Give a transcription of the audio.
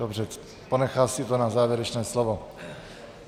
Dobře, ponechal si to na závěrečné slovo.